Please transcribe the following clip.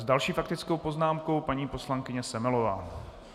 S další faktickou poznámkou paní poslankyně Semelová.